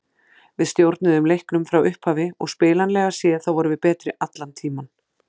Við stjórnuðum leiknum frá upphafi og spilanlega séð þá vorum við betri allan tímann.